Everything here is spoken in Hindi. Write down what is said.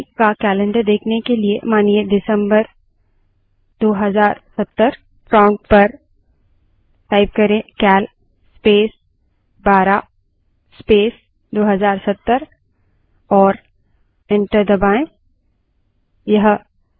किसी भी महीने का calendar देखने के लिए मानिए december २०७० prompt पर cal space 12 space 2070 type करें और enter दबायें